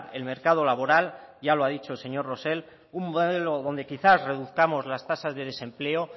el mercado laboral ya lo ha dicho el señor rosell un modelo donde quizás reduzcamos las tasas de desempleo